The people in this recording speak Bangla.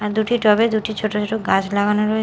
আর দুটি টব -এ দুটি ছোট ছোট গাছ লাগানো রয়ে--